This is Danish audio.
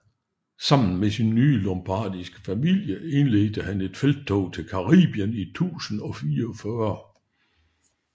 Sammen med sin nye lombardiske familie indledte han et felttog til Calabrien i 1044